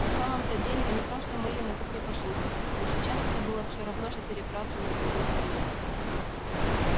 на самом то деле они просто мыли на кухне посуду но сейчас это было все равно что перебраться на другую планету